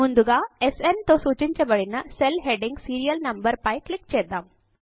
ముందుగా స్న్ తో సూచించబడిన సెల్ హెడ్డింగ్ సీరియల్ నంబర్ పై క్లిక్ చేద్దాం